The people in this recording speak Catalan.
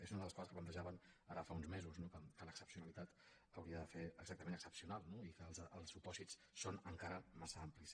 és una de les coses que plantejàvem ara fa uns mesos no que l’excepcionalitat hauria de ser exactament excepcional i que els supòsits són encara massa amplis